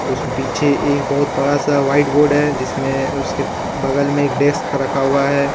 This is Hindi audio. उस पीछे एक बहुत बड़ा सा व्हाइट बोर्ड है जिसमें उसके बगल में एक डेस्क रखा हुआ है।